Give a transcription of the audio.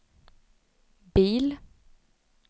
bil